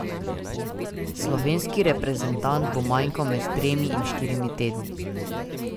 Slovenski reprezentant bo manjkal med tremi in štirimi tedni.